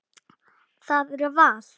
Það er val.